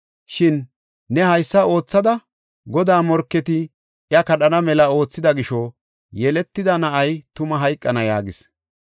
Shin ne haysa oothada, Godaa morketi iya kadhana mela oothida gisho yeletida na7ay tuma hayqana” yaagis.